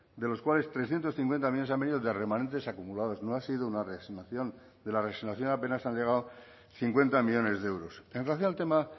de los cuales trescientos cincuenta millónes han venido de remanentes acumulados no ha sido una reasignación de la reasignación apenas han llegado cincuenta millónes de euros en relación al tema